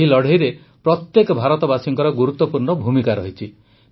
ଏହି ଲଢ଼େଇରେ ପ୍ରତ୍ୟେକ ଭାରତବାସୀଙ୍କର ଗୁରୁତ୍ୱପୂର୍ଣ୍ଣ ଭୂମିକା ରହିଛି